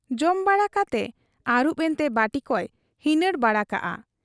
ᱡᱚᱢ ᱵᱟᱲᱟ ᱠᱟᱛᱮ ᱟᱹᱨᱩᱵ ᱮᱱᱛᱮ ᱵᱟᱹᱴᱤᱠᱚᱭ ᱦᱤᱱᱟᱹᱬ ᱵᱟᱲᱟ ᱠᱟᱫ ᱟ ᱾